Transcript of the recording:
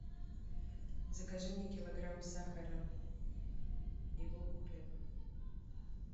закажи мне килограмм сахара и булку хлеба